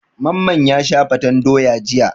Mamman ya sha fatan doya jiya.